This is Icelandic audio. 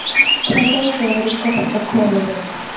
Hvað það væri gott að koma við þig.